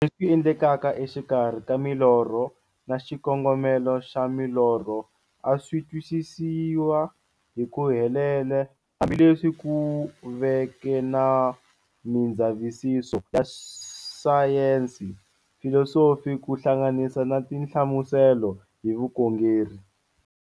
Leswi endlekaka exikarhi ka milorho na xikongomelo xa milorho a swisitwisisiwa hi ku helela, hambi leswi ku veke na mindzavisiso ya sayensi, filosofi ku hlanganisa na tinhlamuselo hi vukhongeri.